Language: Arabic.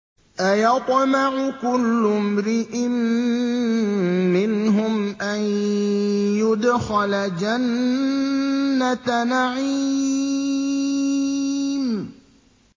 أَيَطْمَعُ كُلُّ امْرِئٍ مِّنْهُمْ أَن يُدْخَلَ جَنَّةَ نَعِيمٍ